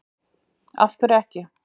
Af hverju ekki